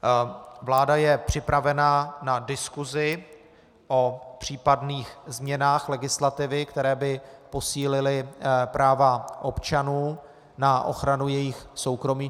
Vláda je připravena na diskusi o případných změnách legislativy, které by posílily práva občanů na ochranu jejich soukromí.